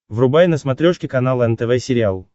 врубай на смотрешке канал нтв сериал